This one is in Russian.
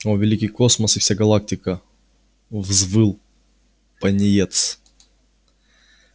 о великий космос и вся галактика взвыл пониетс